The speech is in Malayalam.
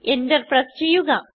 Enter പ്രസ് ചെയ്യുക